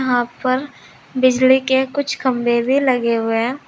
यहां पर बिजली के कुछ खंभे भी लगे हुए है।